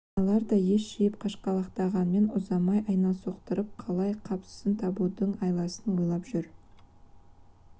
аналар да ес жиып қашқалақтағанмен ұзамай айналсоқтап қалай қапысын табудың айласын ойлап жүр